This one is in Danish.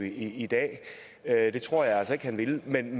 i dag det tror jeg altså ikke han ville men